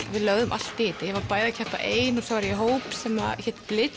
við lögðum allt í þetta ég var bæði að keppa ein og í hóp sem hét